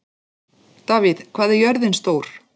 Davíð, hvað er jörðin stór?